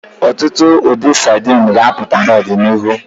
Ọtụtụ ụdị sadini ga-apụta n'ọdịnihu.